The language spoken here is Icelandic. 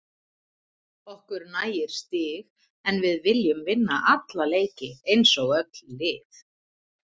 Okkur nægir stig en við viljum vinna alla leiki eins og öll lið.